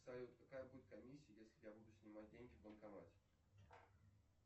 салют какая будет комиссия если я буду снимать деньги в банкомате